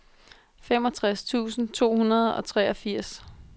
femogtres tusind to hundrede og treogfirs